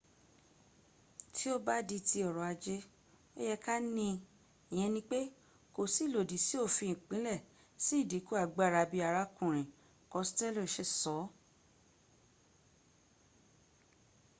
tí ó bá di ti ọrọ̀ ajé ó yẹ ká ní i ìyẹn ni pé kò si ilòdì sí òfin ìpìlẹ̀ si ìdínkù agbára bi arákùnrin costello ṣe sọ